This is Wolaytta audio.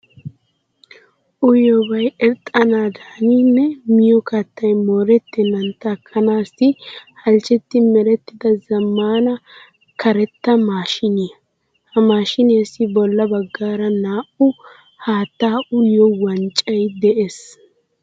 Uyiyobay irxxanaadaani nne miyo kattay moorettennan takkanaassi halchchetti merettida zammaana karetta maashiiniya. Ha maashiiniyassi bolla baggaara naa"u haattaa uyiyo wanccay de'es.